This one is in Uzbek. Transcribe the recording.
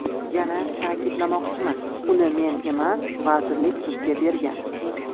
Yana ta’kidlamoqchiman, uni men emas, vazirlik sudga bergan.